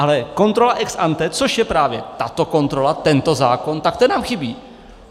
Ale kontrola ex ante, což je právě tato kontrola, tento zákon, tak ta nám chybí.